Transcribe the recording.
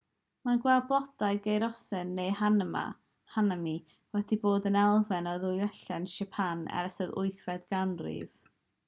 mae gweld blodau'r geiriosen neu hanami wedi bod yn elfen o ddiwylliant siapan ers yr 8fed ganrif